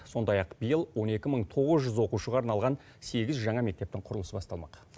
сондай ақ биыл он екі мың тоғыз жүз оқушыға арналған сегіз жаңа мектептің құрылысы басталмақ